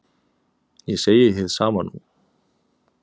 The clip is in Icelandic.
Ég segi hið sama nú.